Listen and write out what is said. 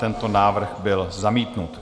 Tento návrh byl zamítnut.